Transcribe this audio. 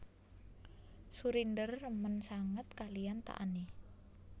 Surinder remen sanget kaliyan Taani